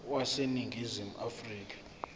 wase ningizimu afrika